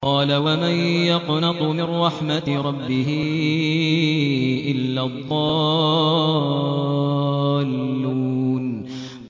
قَالَ وَمَن يَقْنَطُ مِن رَّحْمَةِ رَبِّهِ إِلَّا الضَّالُّونَ